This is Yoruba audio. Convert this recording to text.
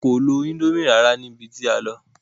Wọn kò lo ińdómì rárá níbi tí a lọ.